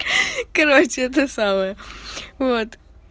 короче это самое вот